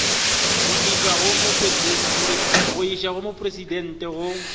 go išwa go mopresidente go